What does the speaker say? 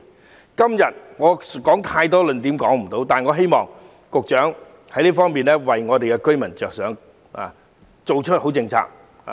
我今天無法列舉太多論點，但希望局長多為寮屋居民着想，制訂良好政策。